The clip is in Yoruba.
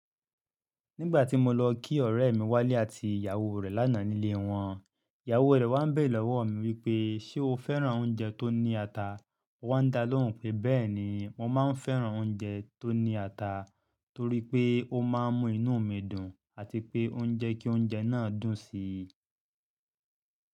Nígbà tí mo lọ kí ọ̀rẹ́ mi Wálé àti ìyàwó rẹ̀ lánàá nílé wọn, ìyàwó rẹ̀ wá ń bẹ̀ lọ́wọ́ mi wípé "ṣé o fẹ́ràn oúnjẹ tó ní ata?" Wọ́n dá lóhùn pé bẹ́ẹ̀ni, mo máa ń fẹ́ràn oúnjẹ tó ní ata torí pé ó máa ń mú inú mi dùn àti pé ó ń jẹ́ kí oúnjẹ náà dùn sí i.